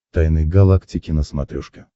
тайны галактики на смотрешке